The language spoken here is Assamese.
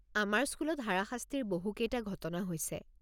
আমাৰ স্কুলত হাৰাশাস্তিৰ বহুকেইটা ঘটনা হৈছে।